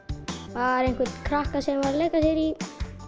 bara einhvern krakka sem var að leika sér í